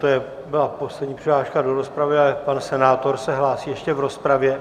To byla poslední přihláška do rozpravy, ale pan senátor se hlásí ještě v rozpravě.